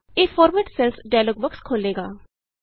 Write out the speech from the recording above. ਇਹ format cells dialog box ਖੋਲ੍ਹੇਗਾ